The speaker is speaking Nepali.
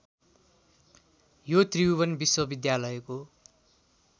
यो त्रिभुवन विश्वविद्यालयको